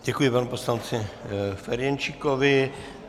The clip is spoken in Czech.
Děkuji panu poslanci Ferjenčíkovi.